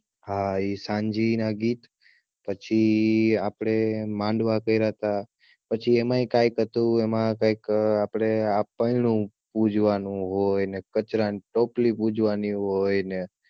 હા ઈ સાંજેનાં ગીત પછી આપડે માંડવા કયરાતા પછી એમાં એક આ હતું એમાં કઈક આપડે કૈક આપણું પૂજવાનું હોય ને કચરાની ટોપલી પૂજવાની હોય ને